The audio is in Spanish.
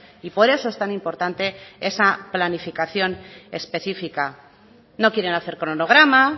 y por eso es tan importante esa planificación específica no quieren hacer cronograma